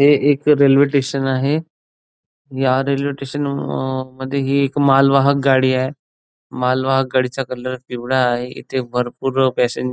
हे एक railway station आहे ह्या रेल्वे स्टेशन अ अ मध्ये ही एक माल वाहक गाडी आहे माल वाहक गाडीचा कलर पिवळा आहे इथे भरपूर पॅसन